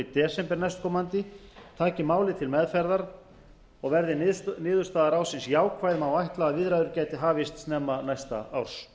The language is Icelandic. desember næstkomandi taki málið til meðferðar og verði niðurstaða ráðsins jákvæð má ætla að viðræður gætu hafist snemma næsta árs